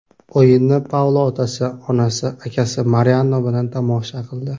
O‘yinni Paulo otasi, onasi, akasi Mariano bilan tomosha qildi.